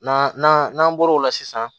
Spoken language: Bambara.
N'an nan'an n'an bɔr'o la sisan